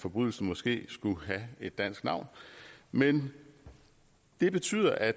forbrydelsen måske skulle have et dansk navn men det betyder at